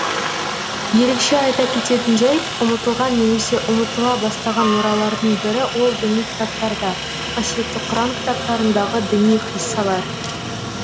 ерекше айта кететін жәйт ұмытылған немесе ұмытыла бастаған мұралардың бірі ол діни кітаптарда қасиетті құран кітаптарындағы діни қиссалар